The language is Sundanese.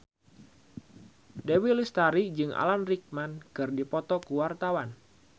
Dewi Lestari jeung Alan Rickman keur dipoto ku wartawan